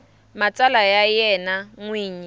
matsalwa ya yena n wini